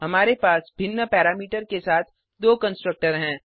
हमारे पास भिन्न पैरामीटर के साथ दो कंस्ट्रक्टर हैं